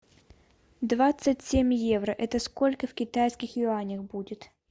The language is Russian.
двадцать семь евро это сколько в китайских юанях будет